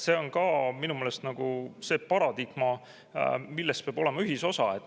See on minu meelest see paradigma, milles peab olema ühisosa.